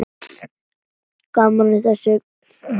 Það er gaman að þessu.